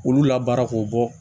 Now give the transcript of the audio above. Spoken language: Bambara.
K'olu labaara k'o bɔ